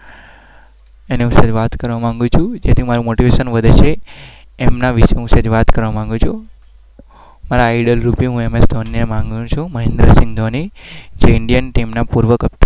એના વિષે હું વાત કરવા માંગુ છું.